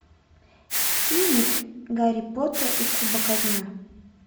фильмик гарри поттер и кубок огня